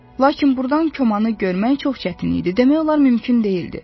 Lakin burdan komanı görmək çox çətin idi, demək olar mümkün deyildi.